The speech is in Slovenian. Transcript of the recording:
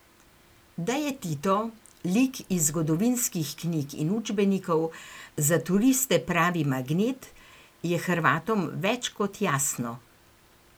Da je Tito, lik iz zgodovinskih knjig in učbenikov, za turiste pravi magnet, je Hrvatom več kot jasno.